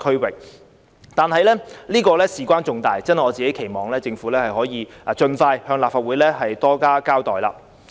可是，此事關係重大，我期望政府可以盡快向立法會多加交代。